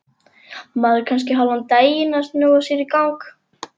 Maður er kannski hálfan daginn að snúa sér í gang.